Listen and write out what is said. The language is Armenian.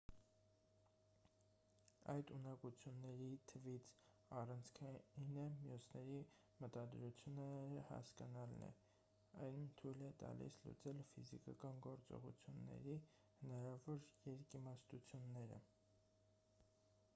այդ ունակությունների թվից առանցքայինը մյուսների մտադրությունները հասկանալն է այն թույլ է տալիս լուծել ֆիզիկական գործողությունների հնարավոր երկիմաստությունները